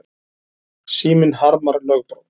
Síminn harmar lögbrot